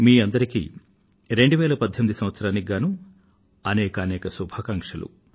మీ అందరికీ 2018 సంవత్సరానికి గానూ అనేకానేక శుభాకాంక్షలు